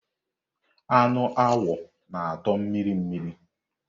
Ánụ agwọ na-atọ mmiri mmiri.